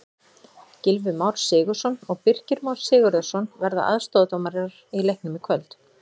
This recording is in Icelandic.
Gylfi Már Sigurðsson og Birkir Sigurðarson verða aðstoðardómarar í leiknum í kvöld.